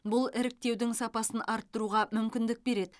бұл іріктеудің сапасын арттыруға мүмкіндік береді